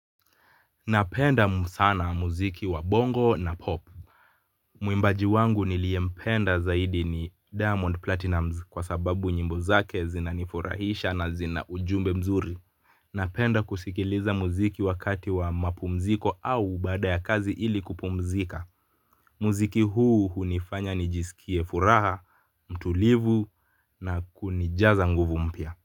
Napenda sana muziki wa bongo na pop. Muimbaji wangu niliempenda zaidi ni Diamond Platinumz kwa sababu nyimbo zake zinanifurahisha na zina ujumbe mzuri. Napenda kusikiliza mziki wakati wa mapumziko au baada ya kazi ili kupumzika. Muziki huu hunifanya nijisikie furaha, mtulivu na kunijaza nguvu mpya.